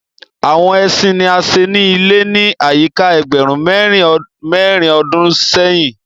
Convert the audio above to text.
Àwọn ẹṣin ní a ṣe ilé ni ayika ẹgbẹrun mérin ọdún séhìn.